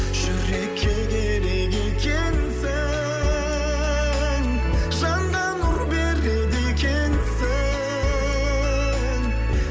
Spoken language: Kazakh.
жүрекке керек екенсің жанға нұр береді екенсің